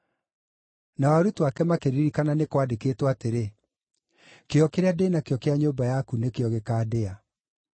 Nao arutwo ake makĩririkana nĩ kwandĩkĩtwo atĩrĩ, “Kĩyo kĩrĩa ndĩ nakĩo kĩa nyũmba yaku nĩkĩo gĩkaandĩa.”